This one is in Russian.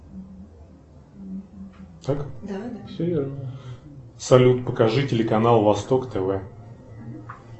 салют покажи телеканал восток тв